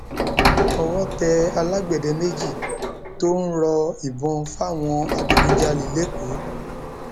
owó tẹ alágbẹdẹ méjì tó ń rọ ìbọn fáwọn adigunjalè lẹkọọ